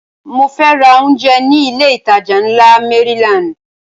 Mo fẹ́ ra oúnjẹ ní ilé ìtajà ńlá Maryland